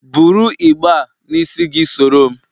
Bụrụ igbe a n'isi gị soro m!